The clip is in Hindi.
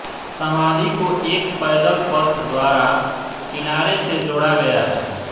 समाधि को एक पैदलपथ द्वारा किनारे से जोड़ा गया है